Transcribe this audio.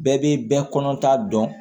Bɛɛ bɛ bɛɛ kɔnɔ ta dɔn